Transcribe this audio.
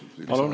Palun!